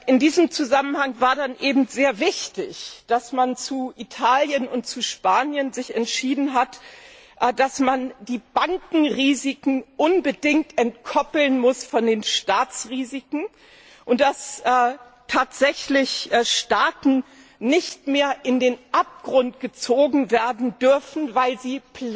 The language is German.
In diesem Zusammenhang war dann eben sehr wichtig, dass man sich zu Italien und zu Spanien entschieden hat, dass man die Bankenrisiken unbedingt entkoppeln muss von den Staatsrisiken und dass tatsächlich Staaten nicht mehr in den Abgrund gezogen werden dürfen, weil sie